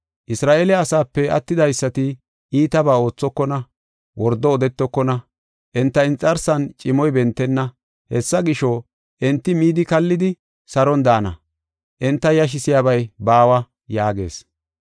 Isra7eele asaape attidaysati iitabaa oothokona; wordo odetokona; enta inxarsan cimoy bentenna. Hessa gisho, enti midi kallidi saron daana; enta yashisiyabay baawa” yaagees.